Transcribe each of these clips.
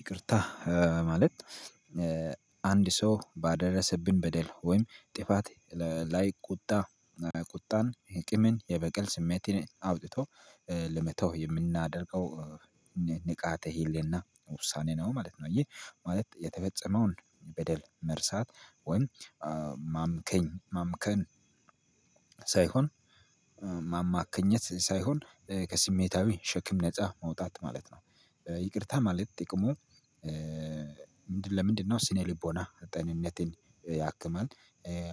ይቅርታ ማለት አንድ ሰው ባደረሰብን በደል ወይም ጥፋት ላይ ቁጣ ቁጣን የቂምን የበቀል ስሜቴን አውጥቶ ለመተው የምናደርገው ንቃተ ሄሌና ውሳኔ ነው ማለት ነው። ይህ ማለት የተፈጸመውን በደል መርሳት ወይ ማምከኝ ማምከን ሳይሆን ማማከኘት ሳይሆን ከስሜታዊ ሸክም ነፃ መውጣት ማለት ነው። ይቅርታ ማለት ጥቅሙ ምንድነው ለምንድነው ስነ ልቦና ጤንነትን ያክማል።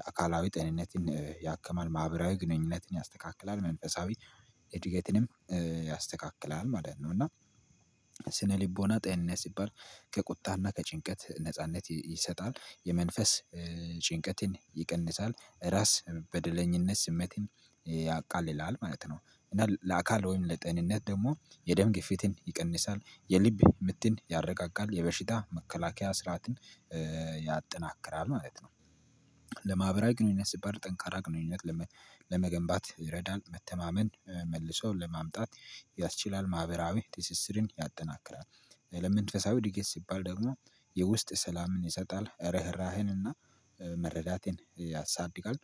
አካላዊ ጤንነትን ያክማል። ማህበራዊ ግንኙነትን ያስተካክላል። መንፈሳዊ እድገትንም ያስተካክላል ማለት ነው። እና ስነልቦና ጤንነት ሲባል ከቁጣና ከጭንቀት ነጻነት ይሰጣል። የመንፈስ ጭንቀትን ይቀንሳል። ራስ በደለኝነት ስሜትን ያቃልላል ማለት ነው። እና ለአካል ወይም ለጤንነት ደግሞ የደም ግፊትን ይቀንሳል የልብ ምትን ያረጋጋል። የበሽታ መከላከያ ስርዓትን ያጠናክራል ማለት ነው። ለማህበራዊ ግንኙነት ሲባል ጠንካራ ግንኙነት ለመገንባት ይረዳል። መተማመን መልሰው ለማምጣት ያስችላል። ማህበራዊ ትስስርን ያጠናክራል። ለመንፈሳዊ እድገት ሲባል ደግሞ የውስጥ ሰላምን ይሰጣል። ርህራሄንና መረዳትን ያሳድጋል።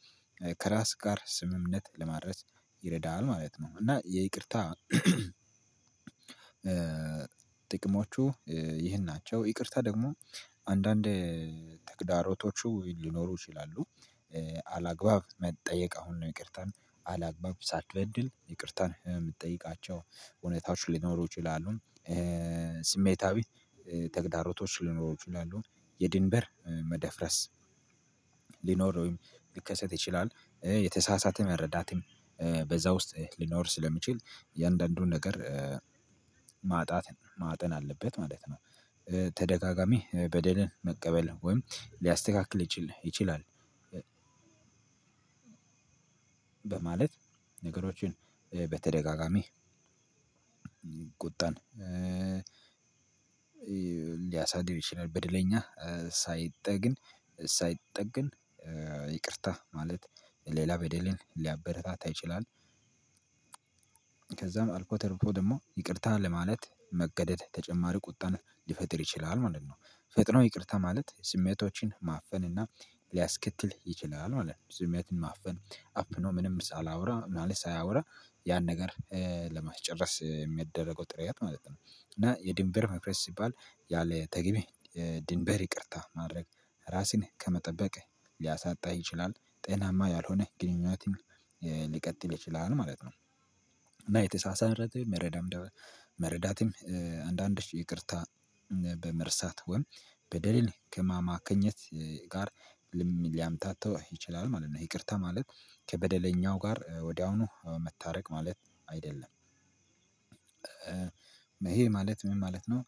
ከራስ ጋር ስምምነት ለማድረስ ይረዳል ማለት ነው። እና የይቅርታ ጥቅሞቹ ይህን ናቸው። ይቅርታ ደግሞ አንዳንዴ ተግዳሮቶቹ ሊኖሩ ይችላሉ። አላግባብ መጠየቅ አሁን ነው ይቅርታን አላግባብ ሳትበድል ይቅርታን የምትጠይቃቸው እውነታዎች ሊኖሩ ይችላሉ። ስሜታዊ ተግዳሮቶች ሊኖሩ ይችላሉ። የድንበር መደፍረስ ሊኖር ወይም ሊከሰት ይችላል። የተሳሳተ መረዳትም በዛ ውስጥ ሊኖር ስለሚችል እያንዳንዱን ነገር ማጣት ማጤን አለበት ማለት ነው። በደልን መቀበል ወይም ሊያስተካክል ሊችል ይችላል በማለት ነገሮችን በተደጋጋሚ ቁጣን ሊያሳድግ ይችላል። በደለኛ ሳይጠግን ሳይጠግን ይቅርታ ማለት ሌላ በደልን ሊያበረታታ ይችላል። ከዛም አልፎ ተርፎ ደግሞ ይቅርታ ለማለት መገደድ ተጨማሪ ቁጣን ሊፈጥር ይችላል ማለት ነው። ፈጥኖ ይቅርታ ማለት ስሜቶችን ማፈን እና ሊያስከትል ይችላል ማለት ነው። ስሜትን ማፈን አፍኖ ምንም ሳላውራ ምናምን ሳያውራ ያን ነገር ለማስጨረስ የሚደረገው ጥረት ማለት ነው። እና የድንበር መፍረስ ሲባል ያለ ተግቢ ድንበር ይቅርታ ማድረግ ራሴን ከመጠበቅ ሊያሳጣህ ይችላል። ጤናማ ያልሆነህ ግንኙነትን ሊቀጥል ይችላል ማለት ነው። እና የተሳሳተ መረዳትም መረዳትም አንዳንዶች ይቅርታ በመርሳት ወይም በደሌን ከማማከኘት ጋር ሊያምታተው ይችላል ማለት ነው። ይቅርታ ማለት ከበደለኛው ጋር ወዲያውኑ መታረቅ ማለት አይደለም። ይሄ ማለት ምን ማለት ነው?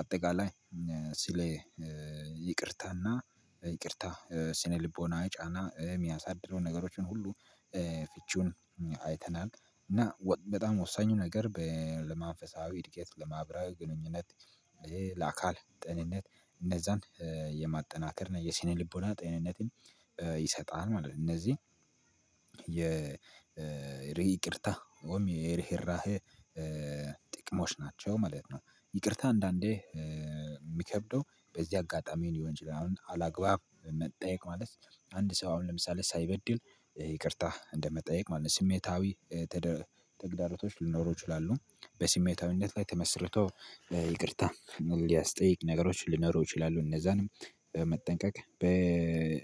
አጠቃላይ ስለ ይቅርታና ይቅርታ ስነልቦናዊ ጫና የሚያሳድደውን ነገሮችን ሁሉ ፍቺውን አይተናል። እና በጣም ወሳኙ ነገር ለመንፈሳዊ እድገት ለማህበራዊ ግንኙነት ለአካል ጤንነት እነዛን የማጠናከር እና የስነ ልቦና ጤንነትን ይሰጣል ማለት ነው። እነዚህ የይቅርታ ወይም የርህራሄ ጥቅሞች ናቸው ማለት ነው። ይቅርታ አንዳንዴ የሚከብደው በዚህ አጋጣሚ ሊሆን እችላል አላግባብ መጠየቅ ማለት አንድ ሰው አሁን ለምሳሌ ሳይበድል ይቅርታ እንደመጠየቅ ማለት ስሜታዊ ተግዳሮቶች ሊኖሩ ይችላሉ። በስሜታዊነት ላይ ተመስርቶ ይቅርታ የሚያስጠይቅ ነገሮች ልኖር ይችላሉ። እነዛን በመጠንቀቅ በተሳሳተ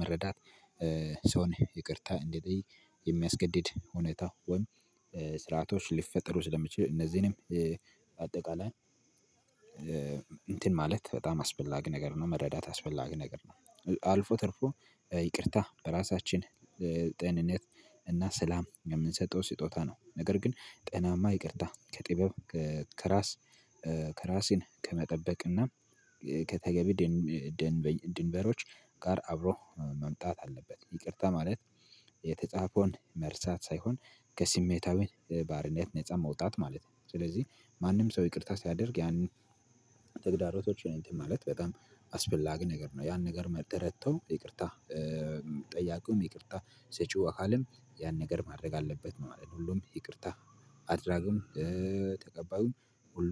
መረዳት ሰውን ይቅርታ እንዲጠይቅ የሚያስገድድ ሁኔታ ወይም ስርዓቶች ሊፈጠሩ ስለሚችሉ እነዚህንም አጠቃላይ እንትን ማለት በጣም አስፈላጊ ነገር ነው መረዳት አስፈላጊ ነገር ነው። አልፎ ተርፎ ይቅርታ በራሳችን ጤንነት እና ሰላም የምንሰጠው ስጦታ ነው። ነገር ግን ጤናማ ይቅርታ ከጥበብ ከራስ ከራሴን ከመጠበቅና ከተገቢ ድንበሮች ጋር አብሮ መምጣት አለበት። ይቅርታ ማለት የተጻፈውን መርሳት ሳይሆን ከስሜታዊ ባርነት ነፃ መውጣት ማለት ነው። ስለዚህ ማንም ሰው ይቅርታ ሲያደርግ ያንን ተግዳሮቶች እንትን ማለት በጣም አስፈላጊ ነገር ነው። ያን ነገር መጥተው ይቅርታ ጠያቂውም ይቅርታ ሰጪው አካልም ያን ነገር ማድረግ አለበት ማለት ነው። ሁሉም ይቅርታ አድራጊውም ተቀባዩም